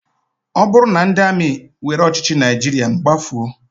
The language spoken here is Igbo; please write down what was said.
Ọ bụrụ na ndị amị were ọchịchị Naịjirịa, m gbafuo.